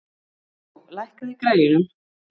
Húgó, lækkaðu í græjunum.